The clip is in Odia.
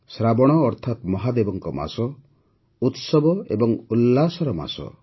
ଶ୍ରାବଣ ଅର୍ଥାତ୍ ମହାଦେବଙ୍କ ମାସ ଉତ୍ସବ ଏବଂ ଉଲ୍ଲାସର ମାସ